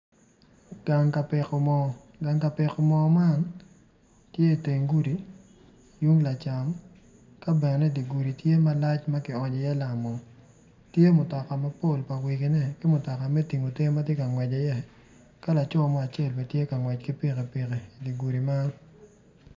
Gang ka piko mo gang ka piko mo man tye iteng gudi tung lacam ka bene di gudi tye malac ma kionyo iye lamo tye mutoka mapol pa wegine ki mutoka me tingo te ma tye ka ngwec iye ka laco mo acel bene tye ka ngwec ki pikipiki idi gudi meno.